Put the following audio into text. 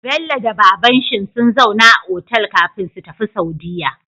Bello da babanshin sun zauna a otal kafin su tafi saudiya